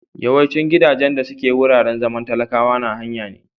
Yawaicin gidajen da suke wuraren zaman talakwa na haya ne.